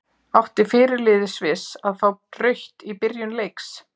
Átti fyrirliði Sviss að fá rautt í byrjun leiks?